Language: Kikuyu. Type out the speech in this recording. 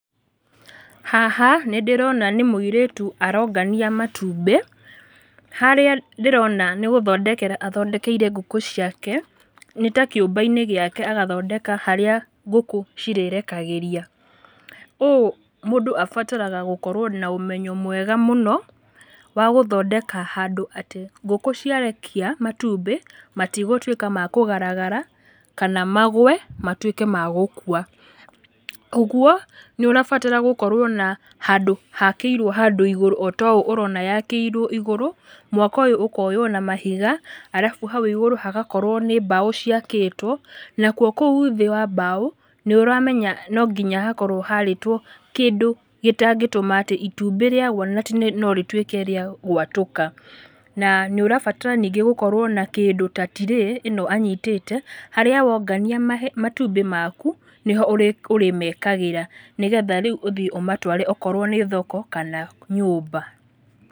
Haha, nĩndĩrona nĩ mũirĩtu arongania matumbĩ, harĩa ndĩrona nĩgúthondekera athondekeire ngũkũ ciake. Nĩ ta kĩũmba-inĩ gĩake agathondeka harĩa ngũkũ cirĩrekagĩria, ũũ mũndũ abataraga gũkorwo na ũmenyo mũingĩ mũno, wa gũthondeka handũ atĩ ngũkũ ciarekia matumbĩ, matigũtwĩka ma kũgaragara, kana magũe matwĩke ma gũkua. Ũguo, nĩũrabatara gũkorwo na handũ hakĩirwo handũ igũrũ otoũ ũrona yakĩirwo igũrũ, mwako ũyũ ũkoywo na mahiga, arabu hau igũrũ hagakorwo nĩ mbaũ ciakĩtwo, naho hau thĩ wa mbao, nĩũramenya nonginya hakorwo harĩtwo kĩndũ gĩtangĩtũma atĩ itumbĩ ríagwa atĩ norĩtwĩke rĩa gwatũka, na nĩũrabatara ningĩ gũkorwo na kĩndũ ta tirĩĩ, ĩno anyitĩte, harĩa wongania matumbĩ maku, nĩho ũrĩmekagĩra, nĩgetha rĩu ũmatware okorwo nĩ thoko kana nyũmba.